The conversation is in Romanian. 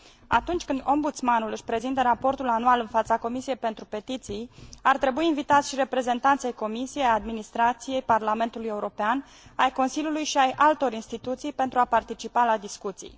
Atunci când Ombudsmanul își prezintă raportul anual în fața Comisiei pentru petiții, ar trebui invitați și reprezentanți ai Comisiei, ai administrației, ai Parlamentului European, ai Consiliului și ai altor instituții, pentru a participa la discuții.